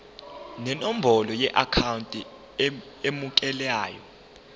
nenombolo yeakhawunti emukelayo